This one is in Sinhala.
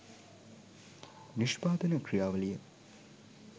නිෂ්පාදන ක්‍රියාවලිය